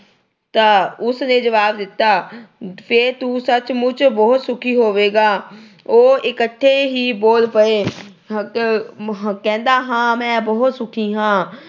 ਤਾਂ ਉਸਨੇ ਜਵਾਬ ਦਿੱਤਾ। ਫਿਰ ਤੂੰ ਸਚਮੁੱਚ ਬਹੁਤ ਸੁਖੀ ਹੋਵੇਗਾ। ਉਹ ਇੱਕਠੇ ਹੀ ਬੋਲ ਪਏ। ਆਹ ਕਹਿੰਦਾ ਹਾਂ, ਮੈਂ ਬਹੁਤ ਸੁਖੀ ਹਾਂ।